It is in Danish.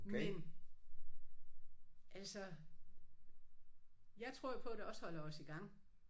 Men altså jeg tror jo på det også holder os i gang